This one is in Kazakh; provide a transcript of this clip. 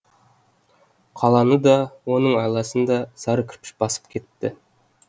қаланы да оның айналасын да сары кірпіш басып кетті